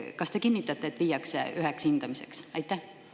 Kas te kinnitate, et need viiakse kokku, üks hindamine?